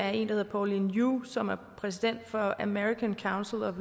hedder pauline yu som er præsident for american council of